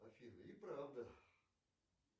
афина и правда